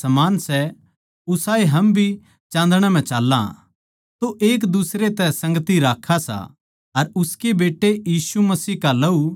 जै हम कुह्वा के म्हारै म्ह कोई भी पाप कोनी तो अपणे आपनै धोक्खा देवा सां अर म्हारै म्ह सच्चाई कोनी